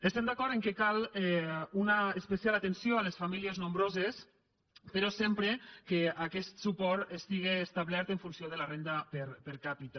estem d’acord que cal una especial atenció a les famí·lies nombroses però sempre que aquest suport estiga establert en funció de la renda per capita